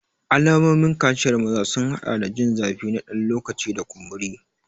Alamomin kaciyar maza sun haɗa da jin zafi na ɗan lokaci da kumburi.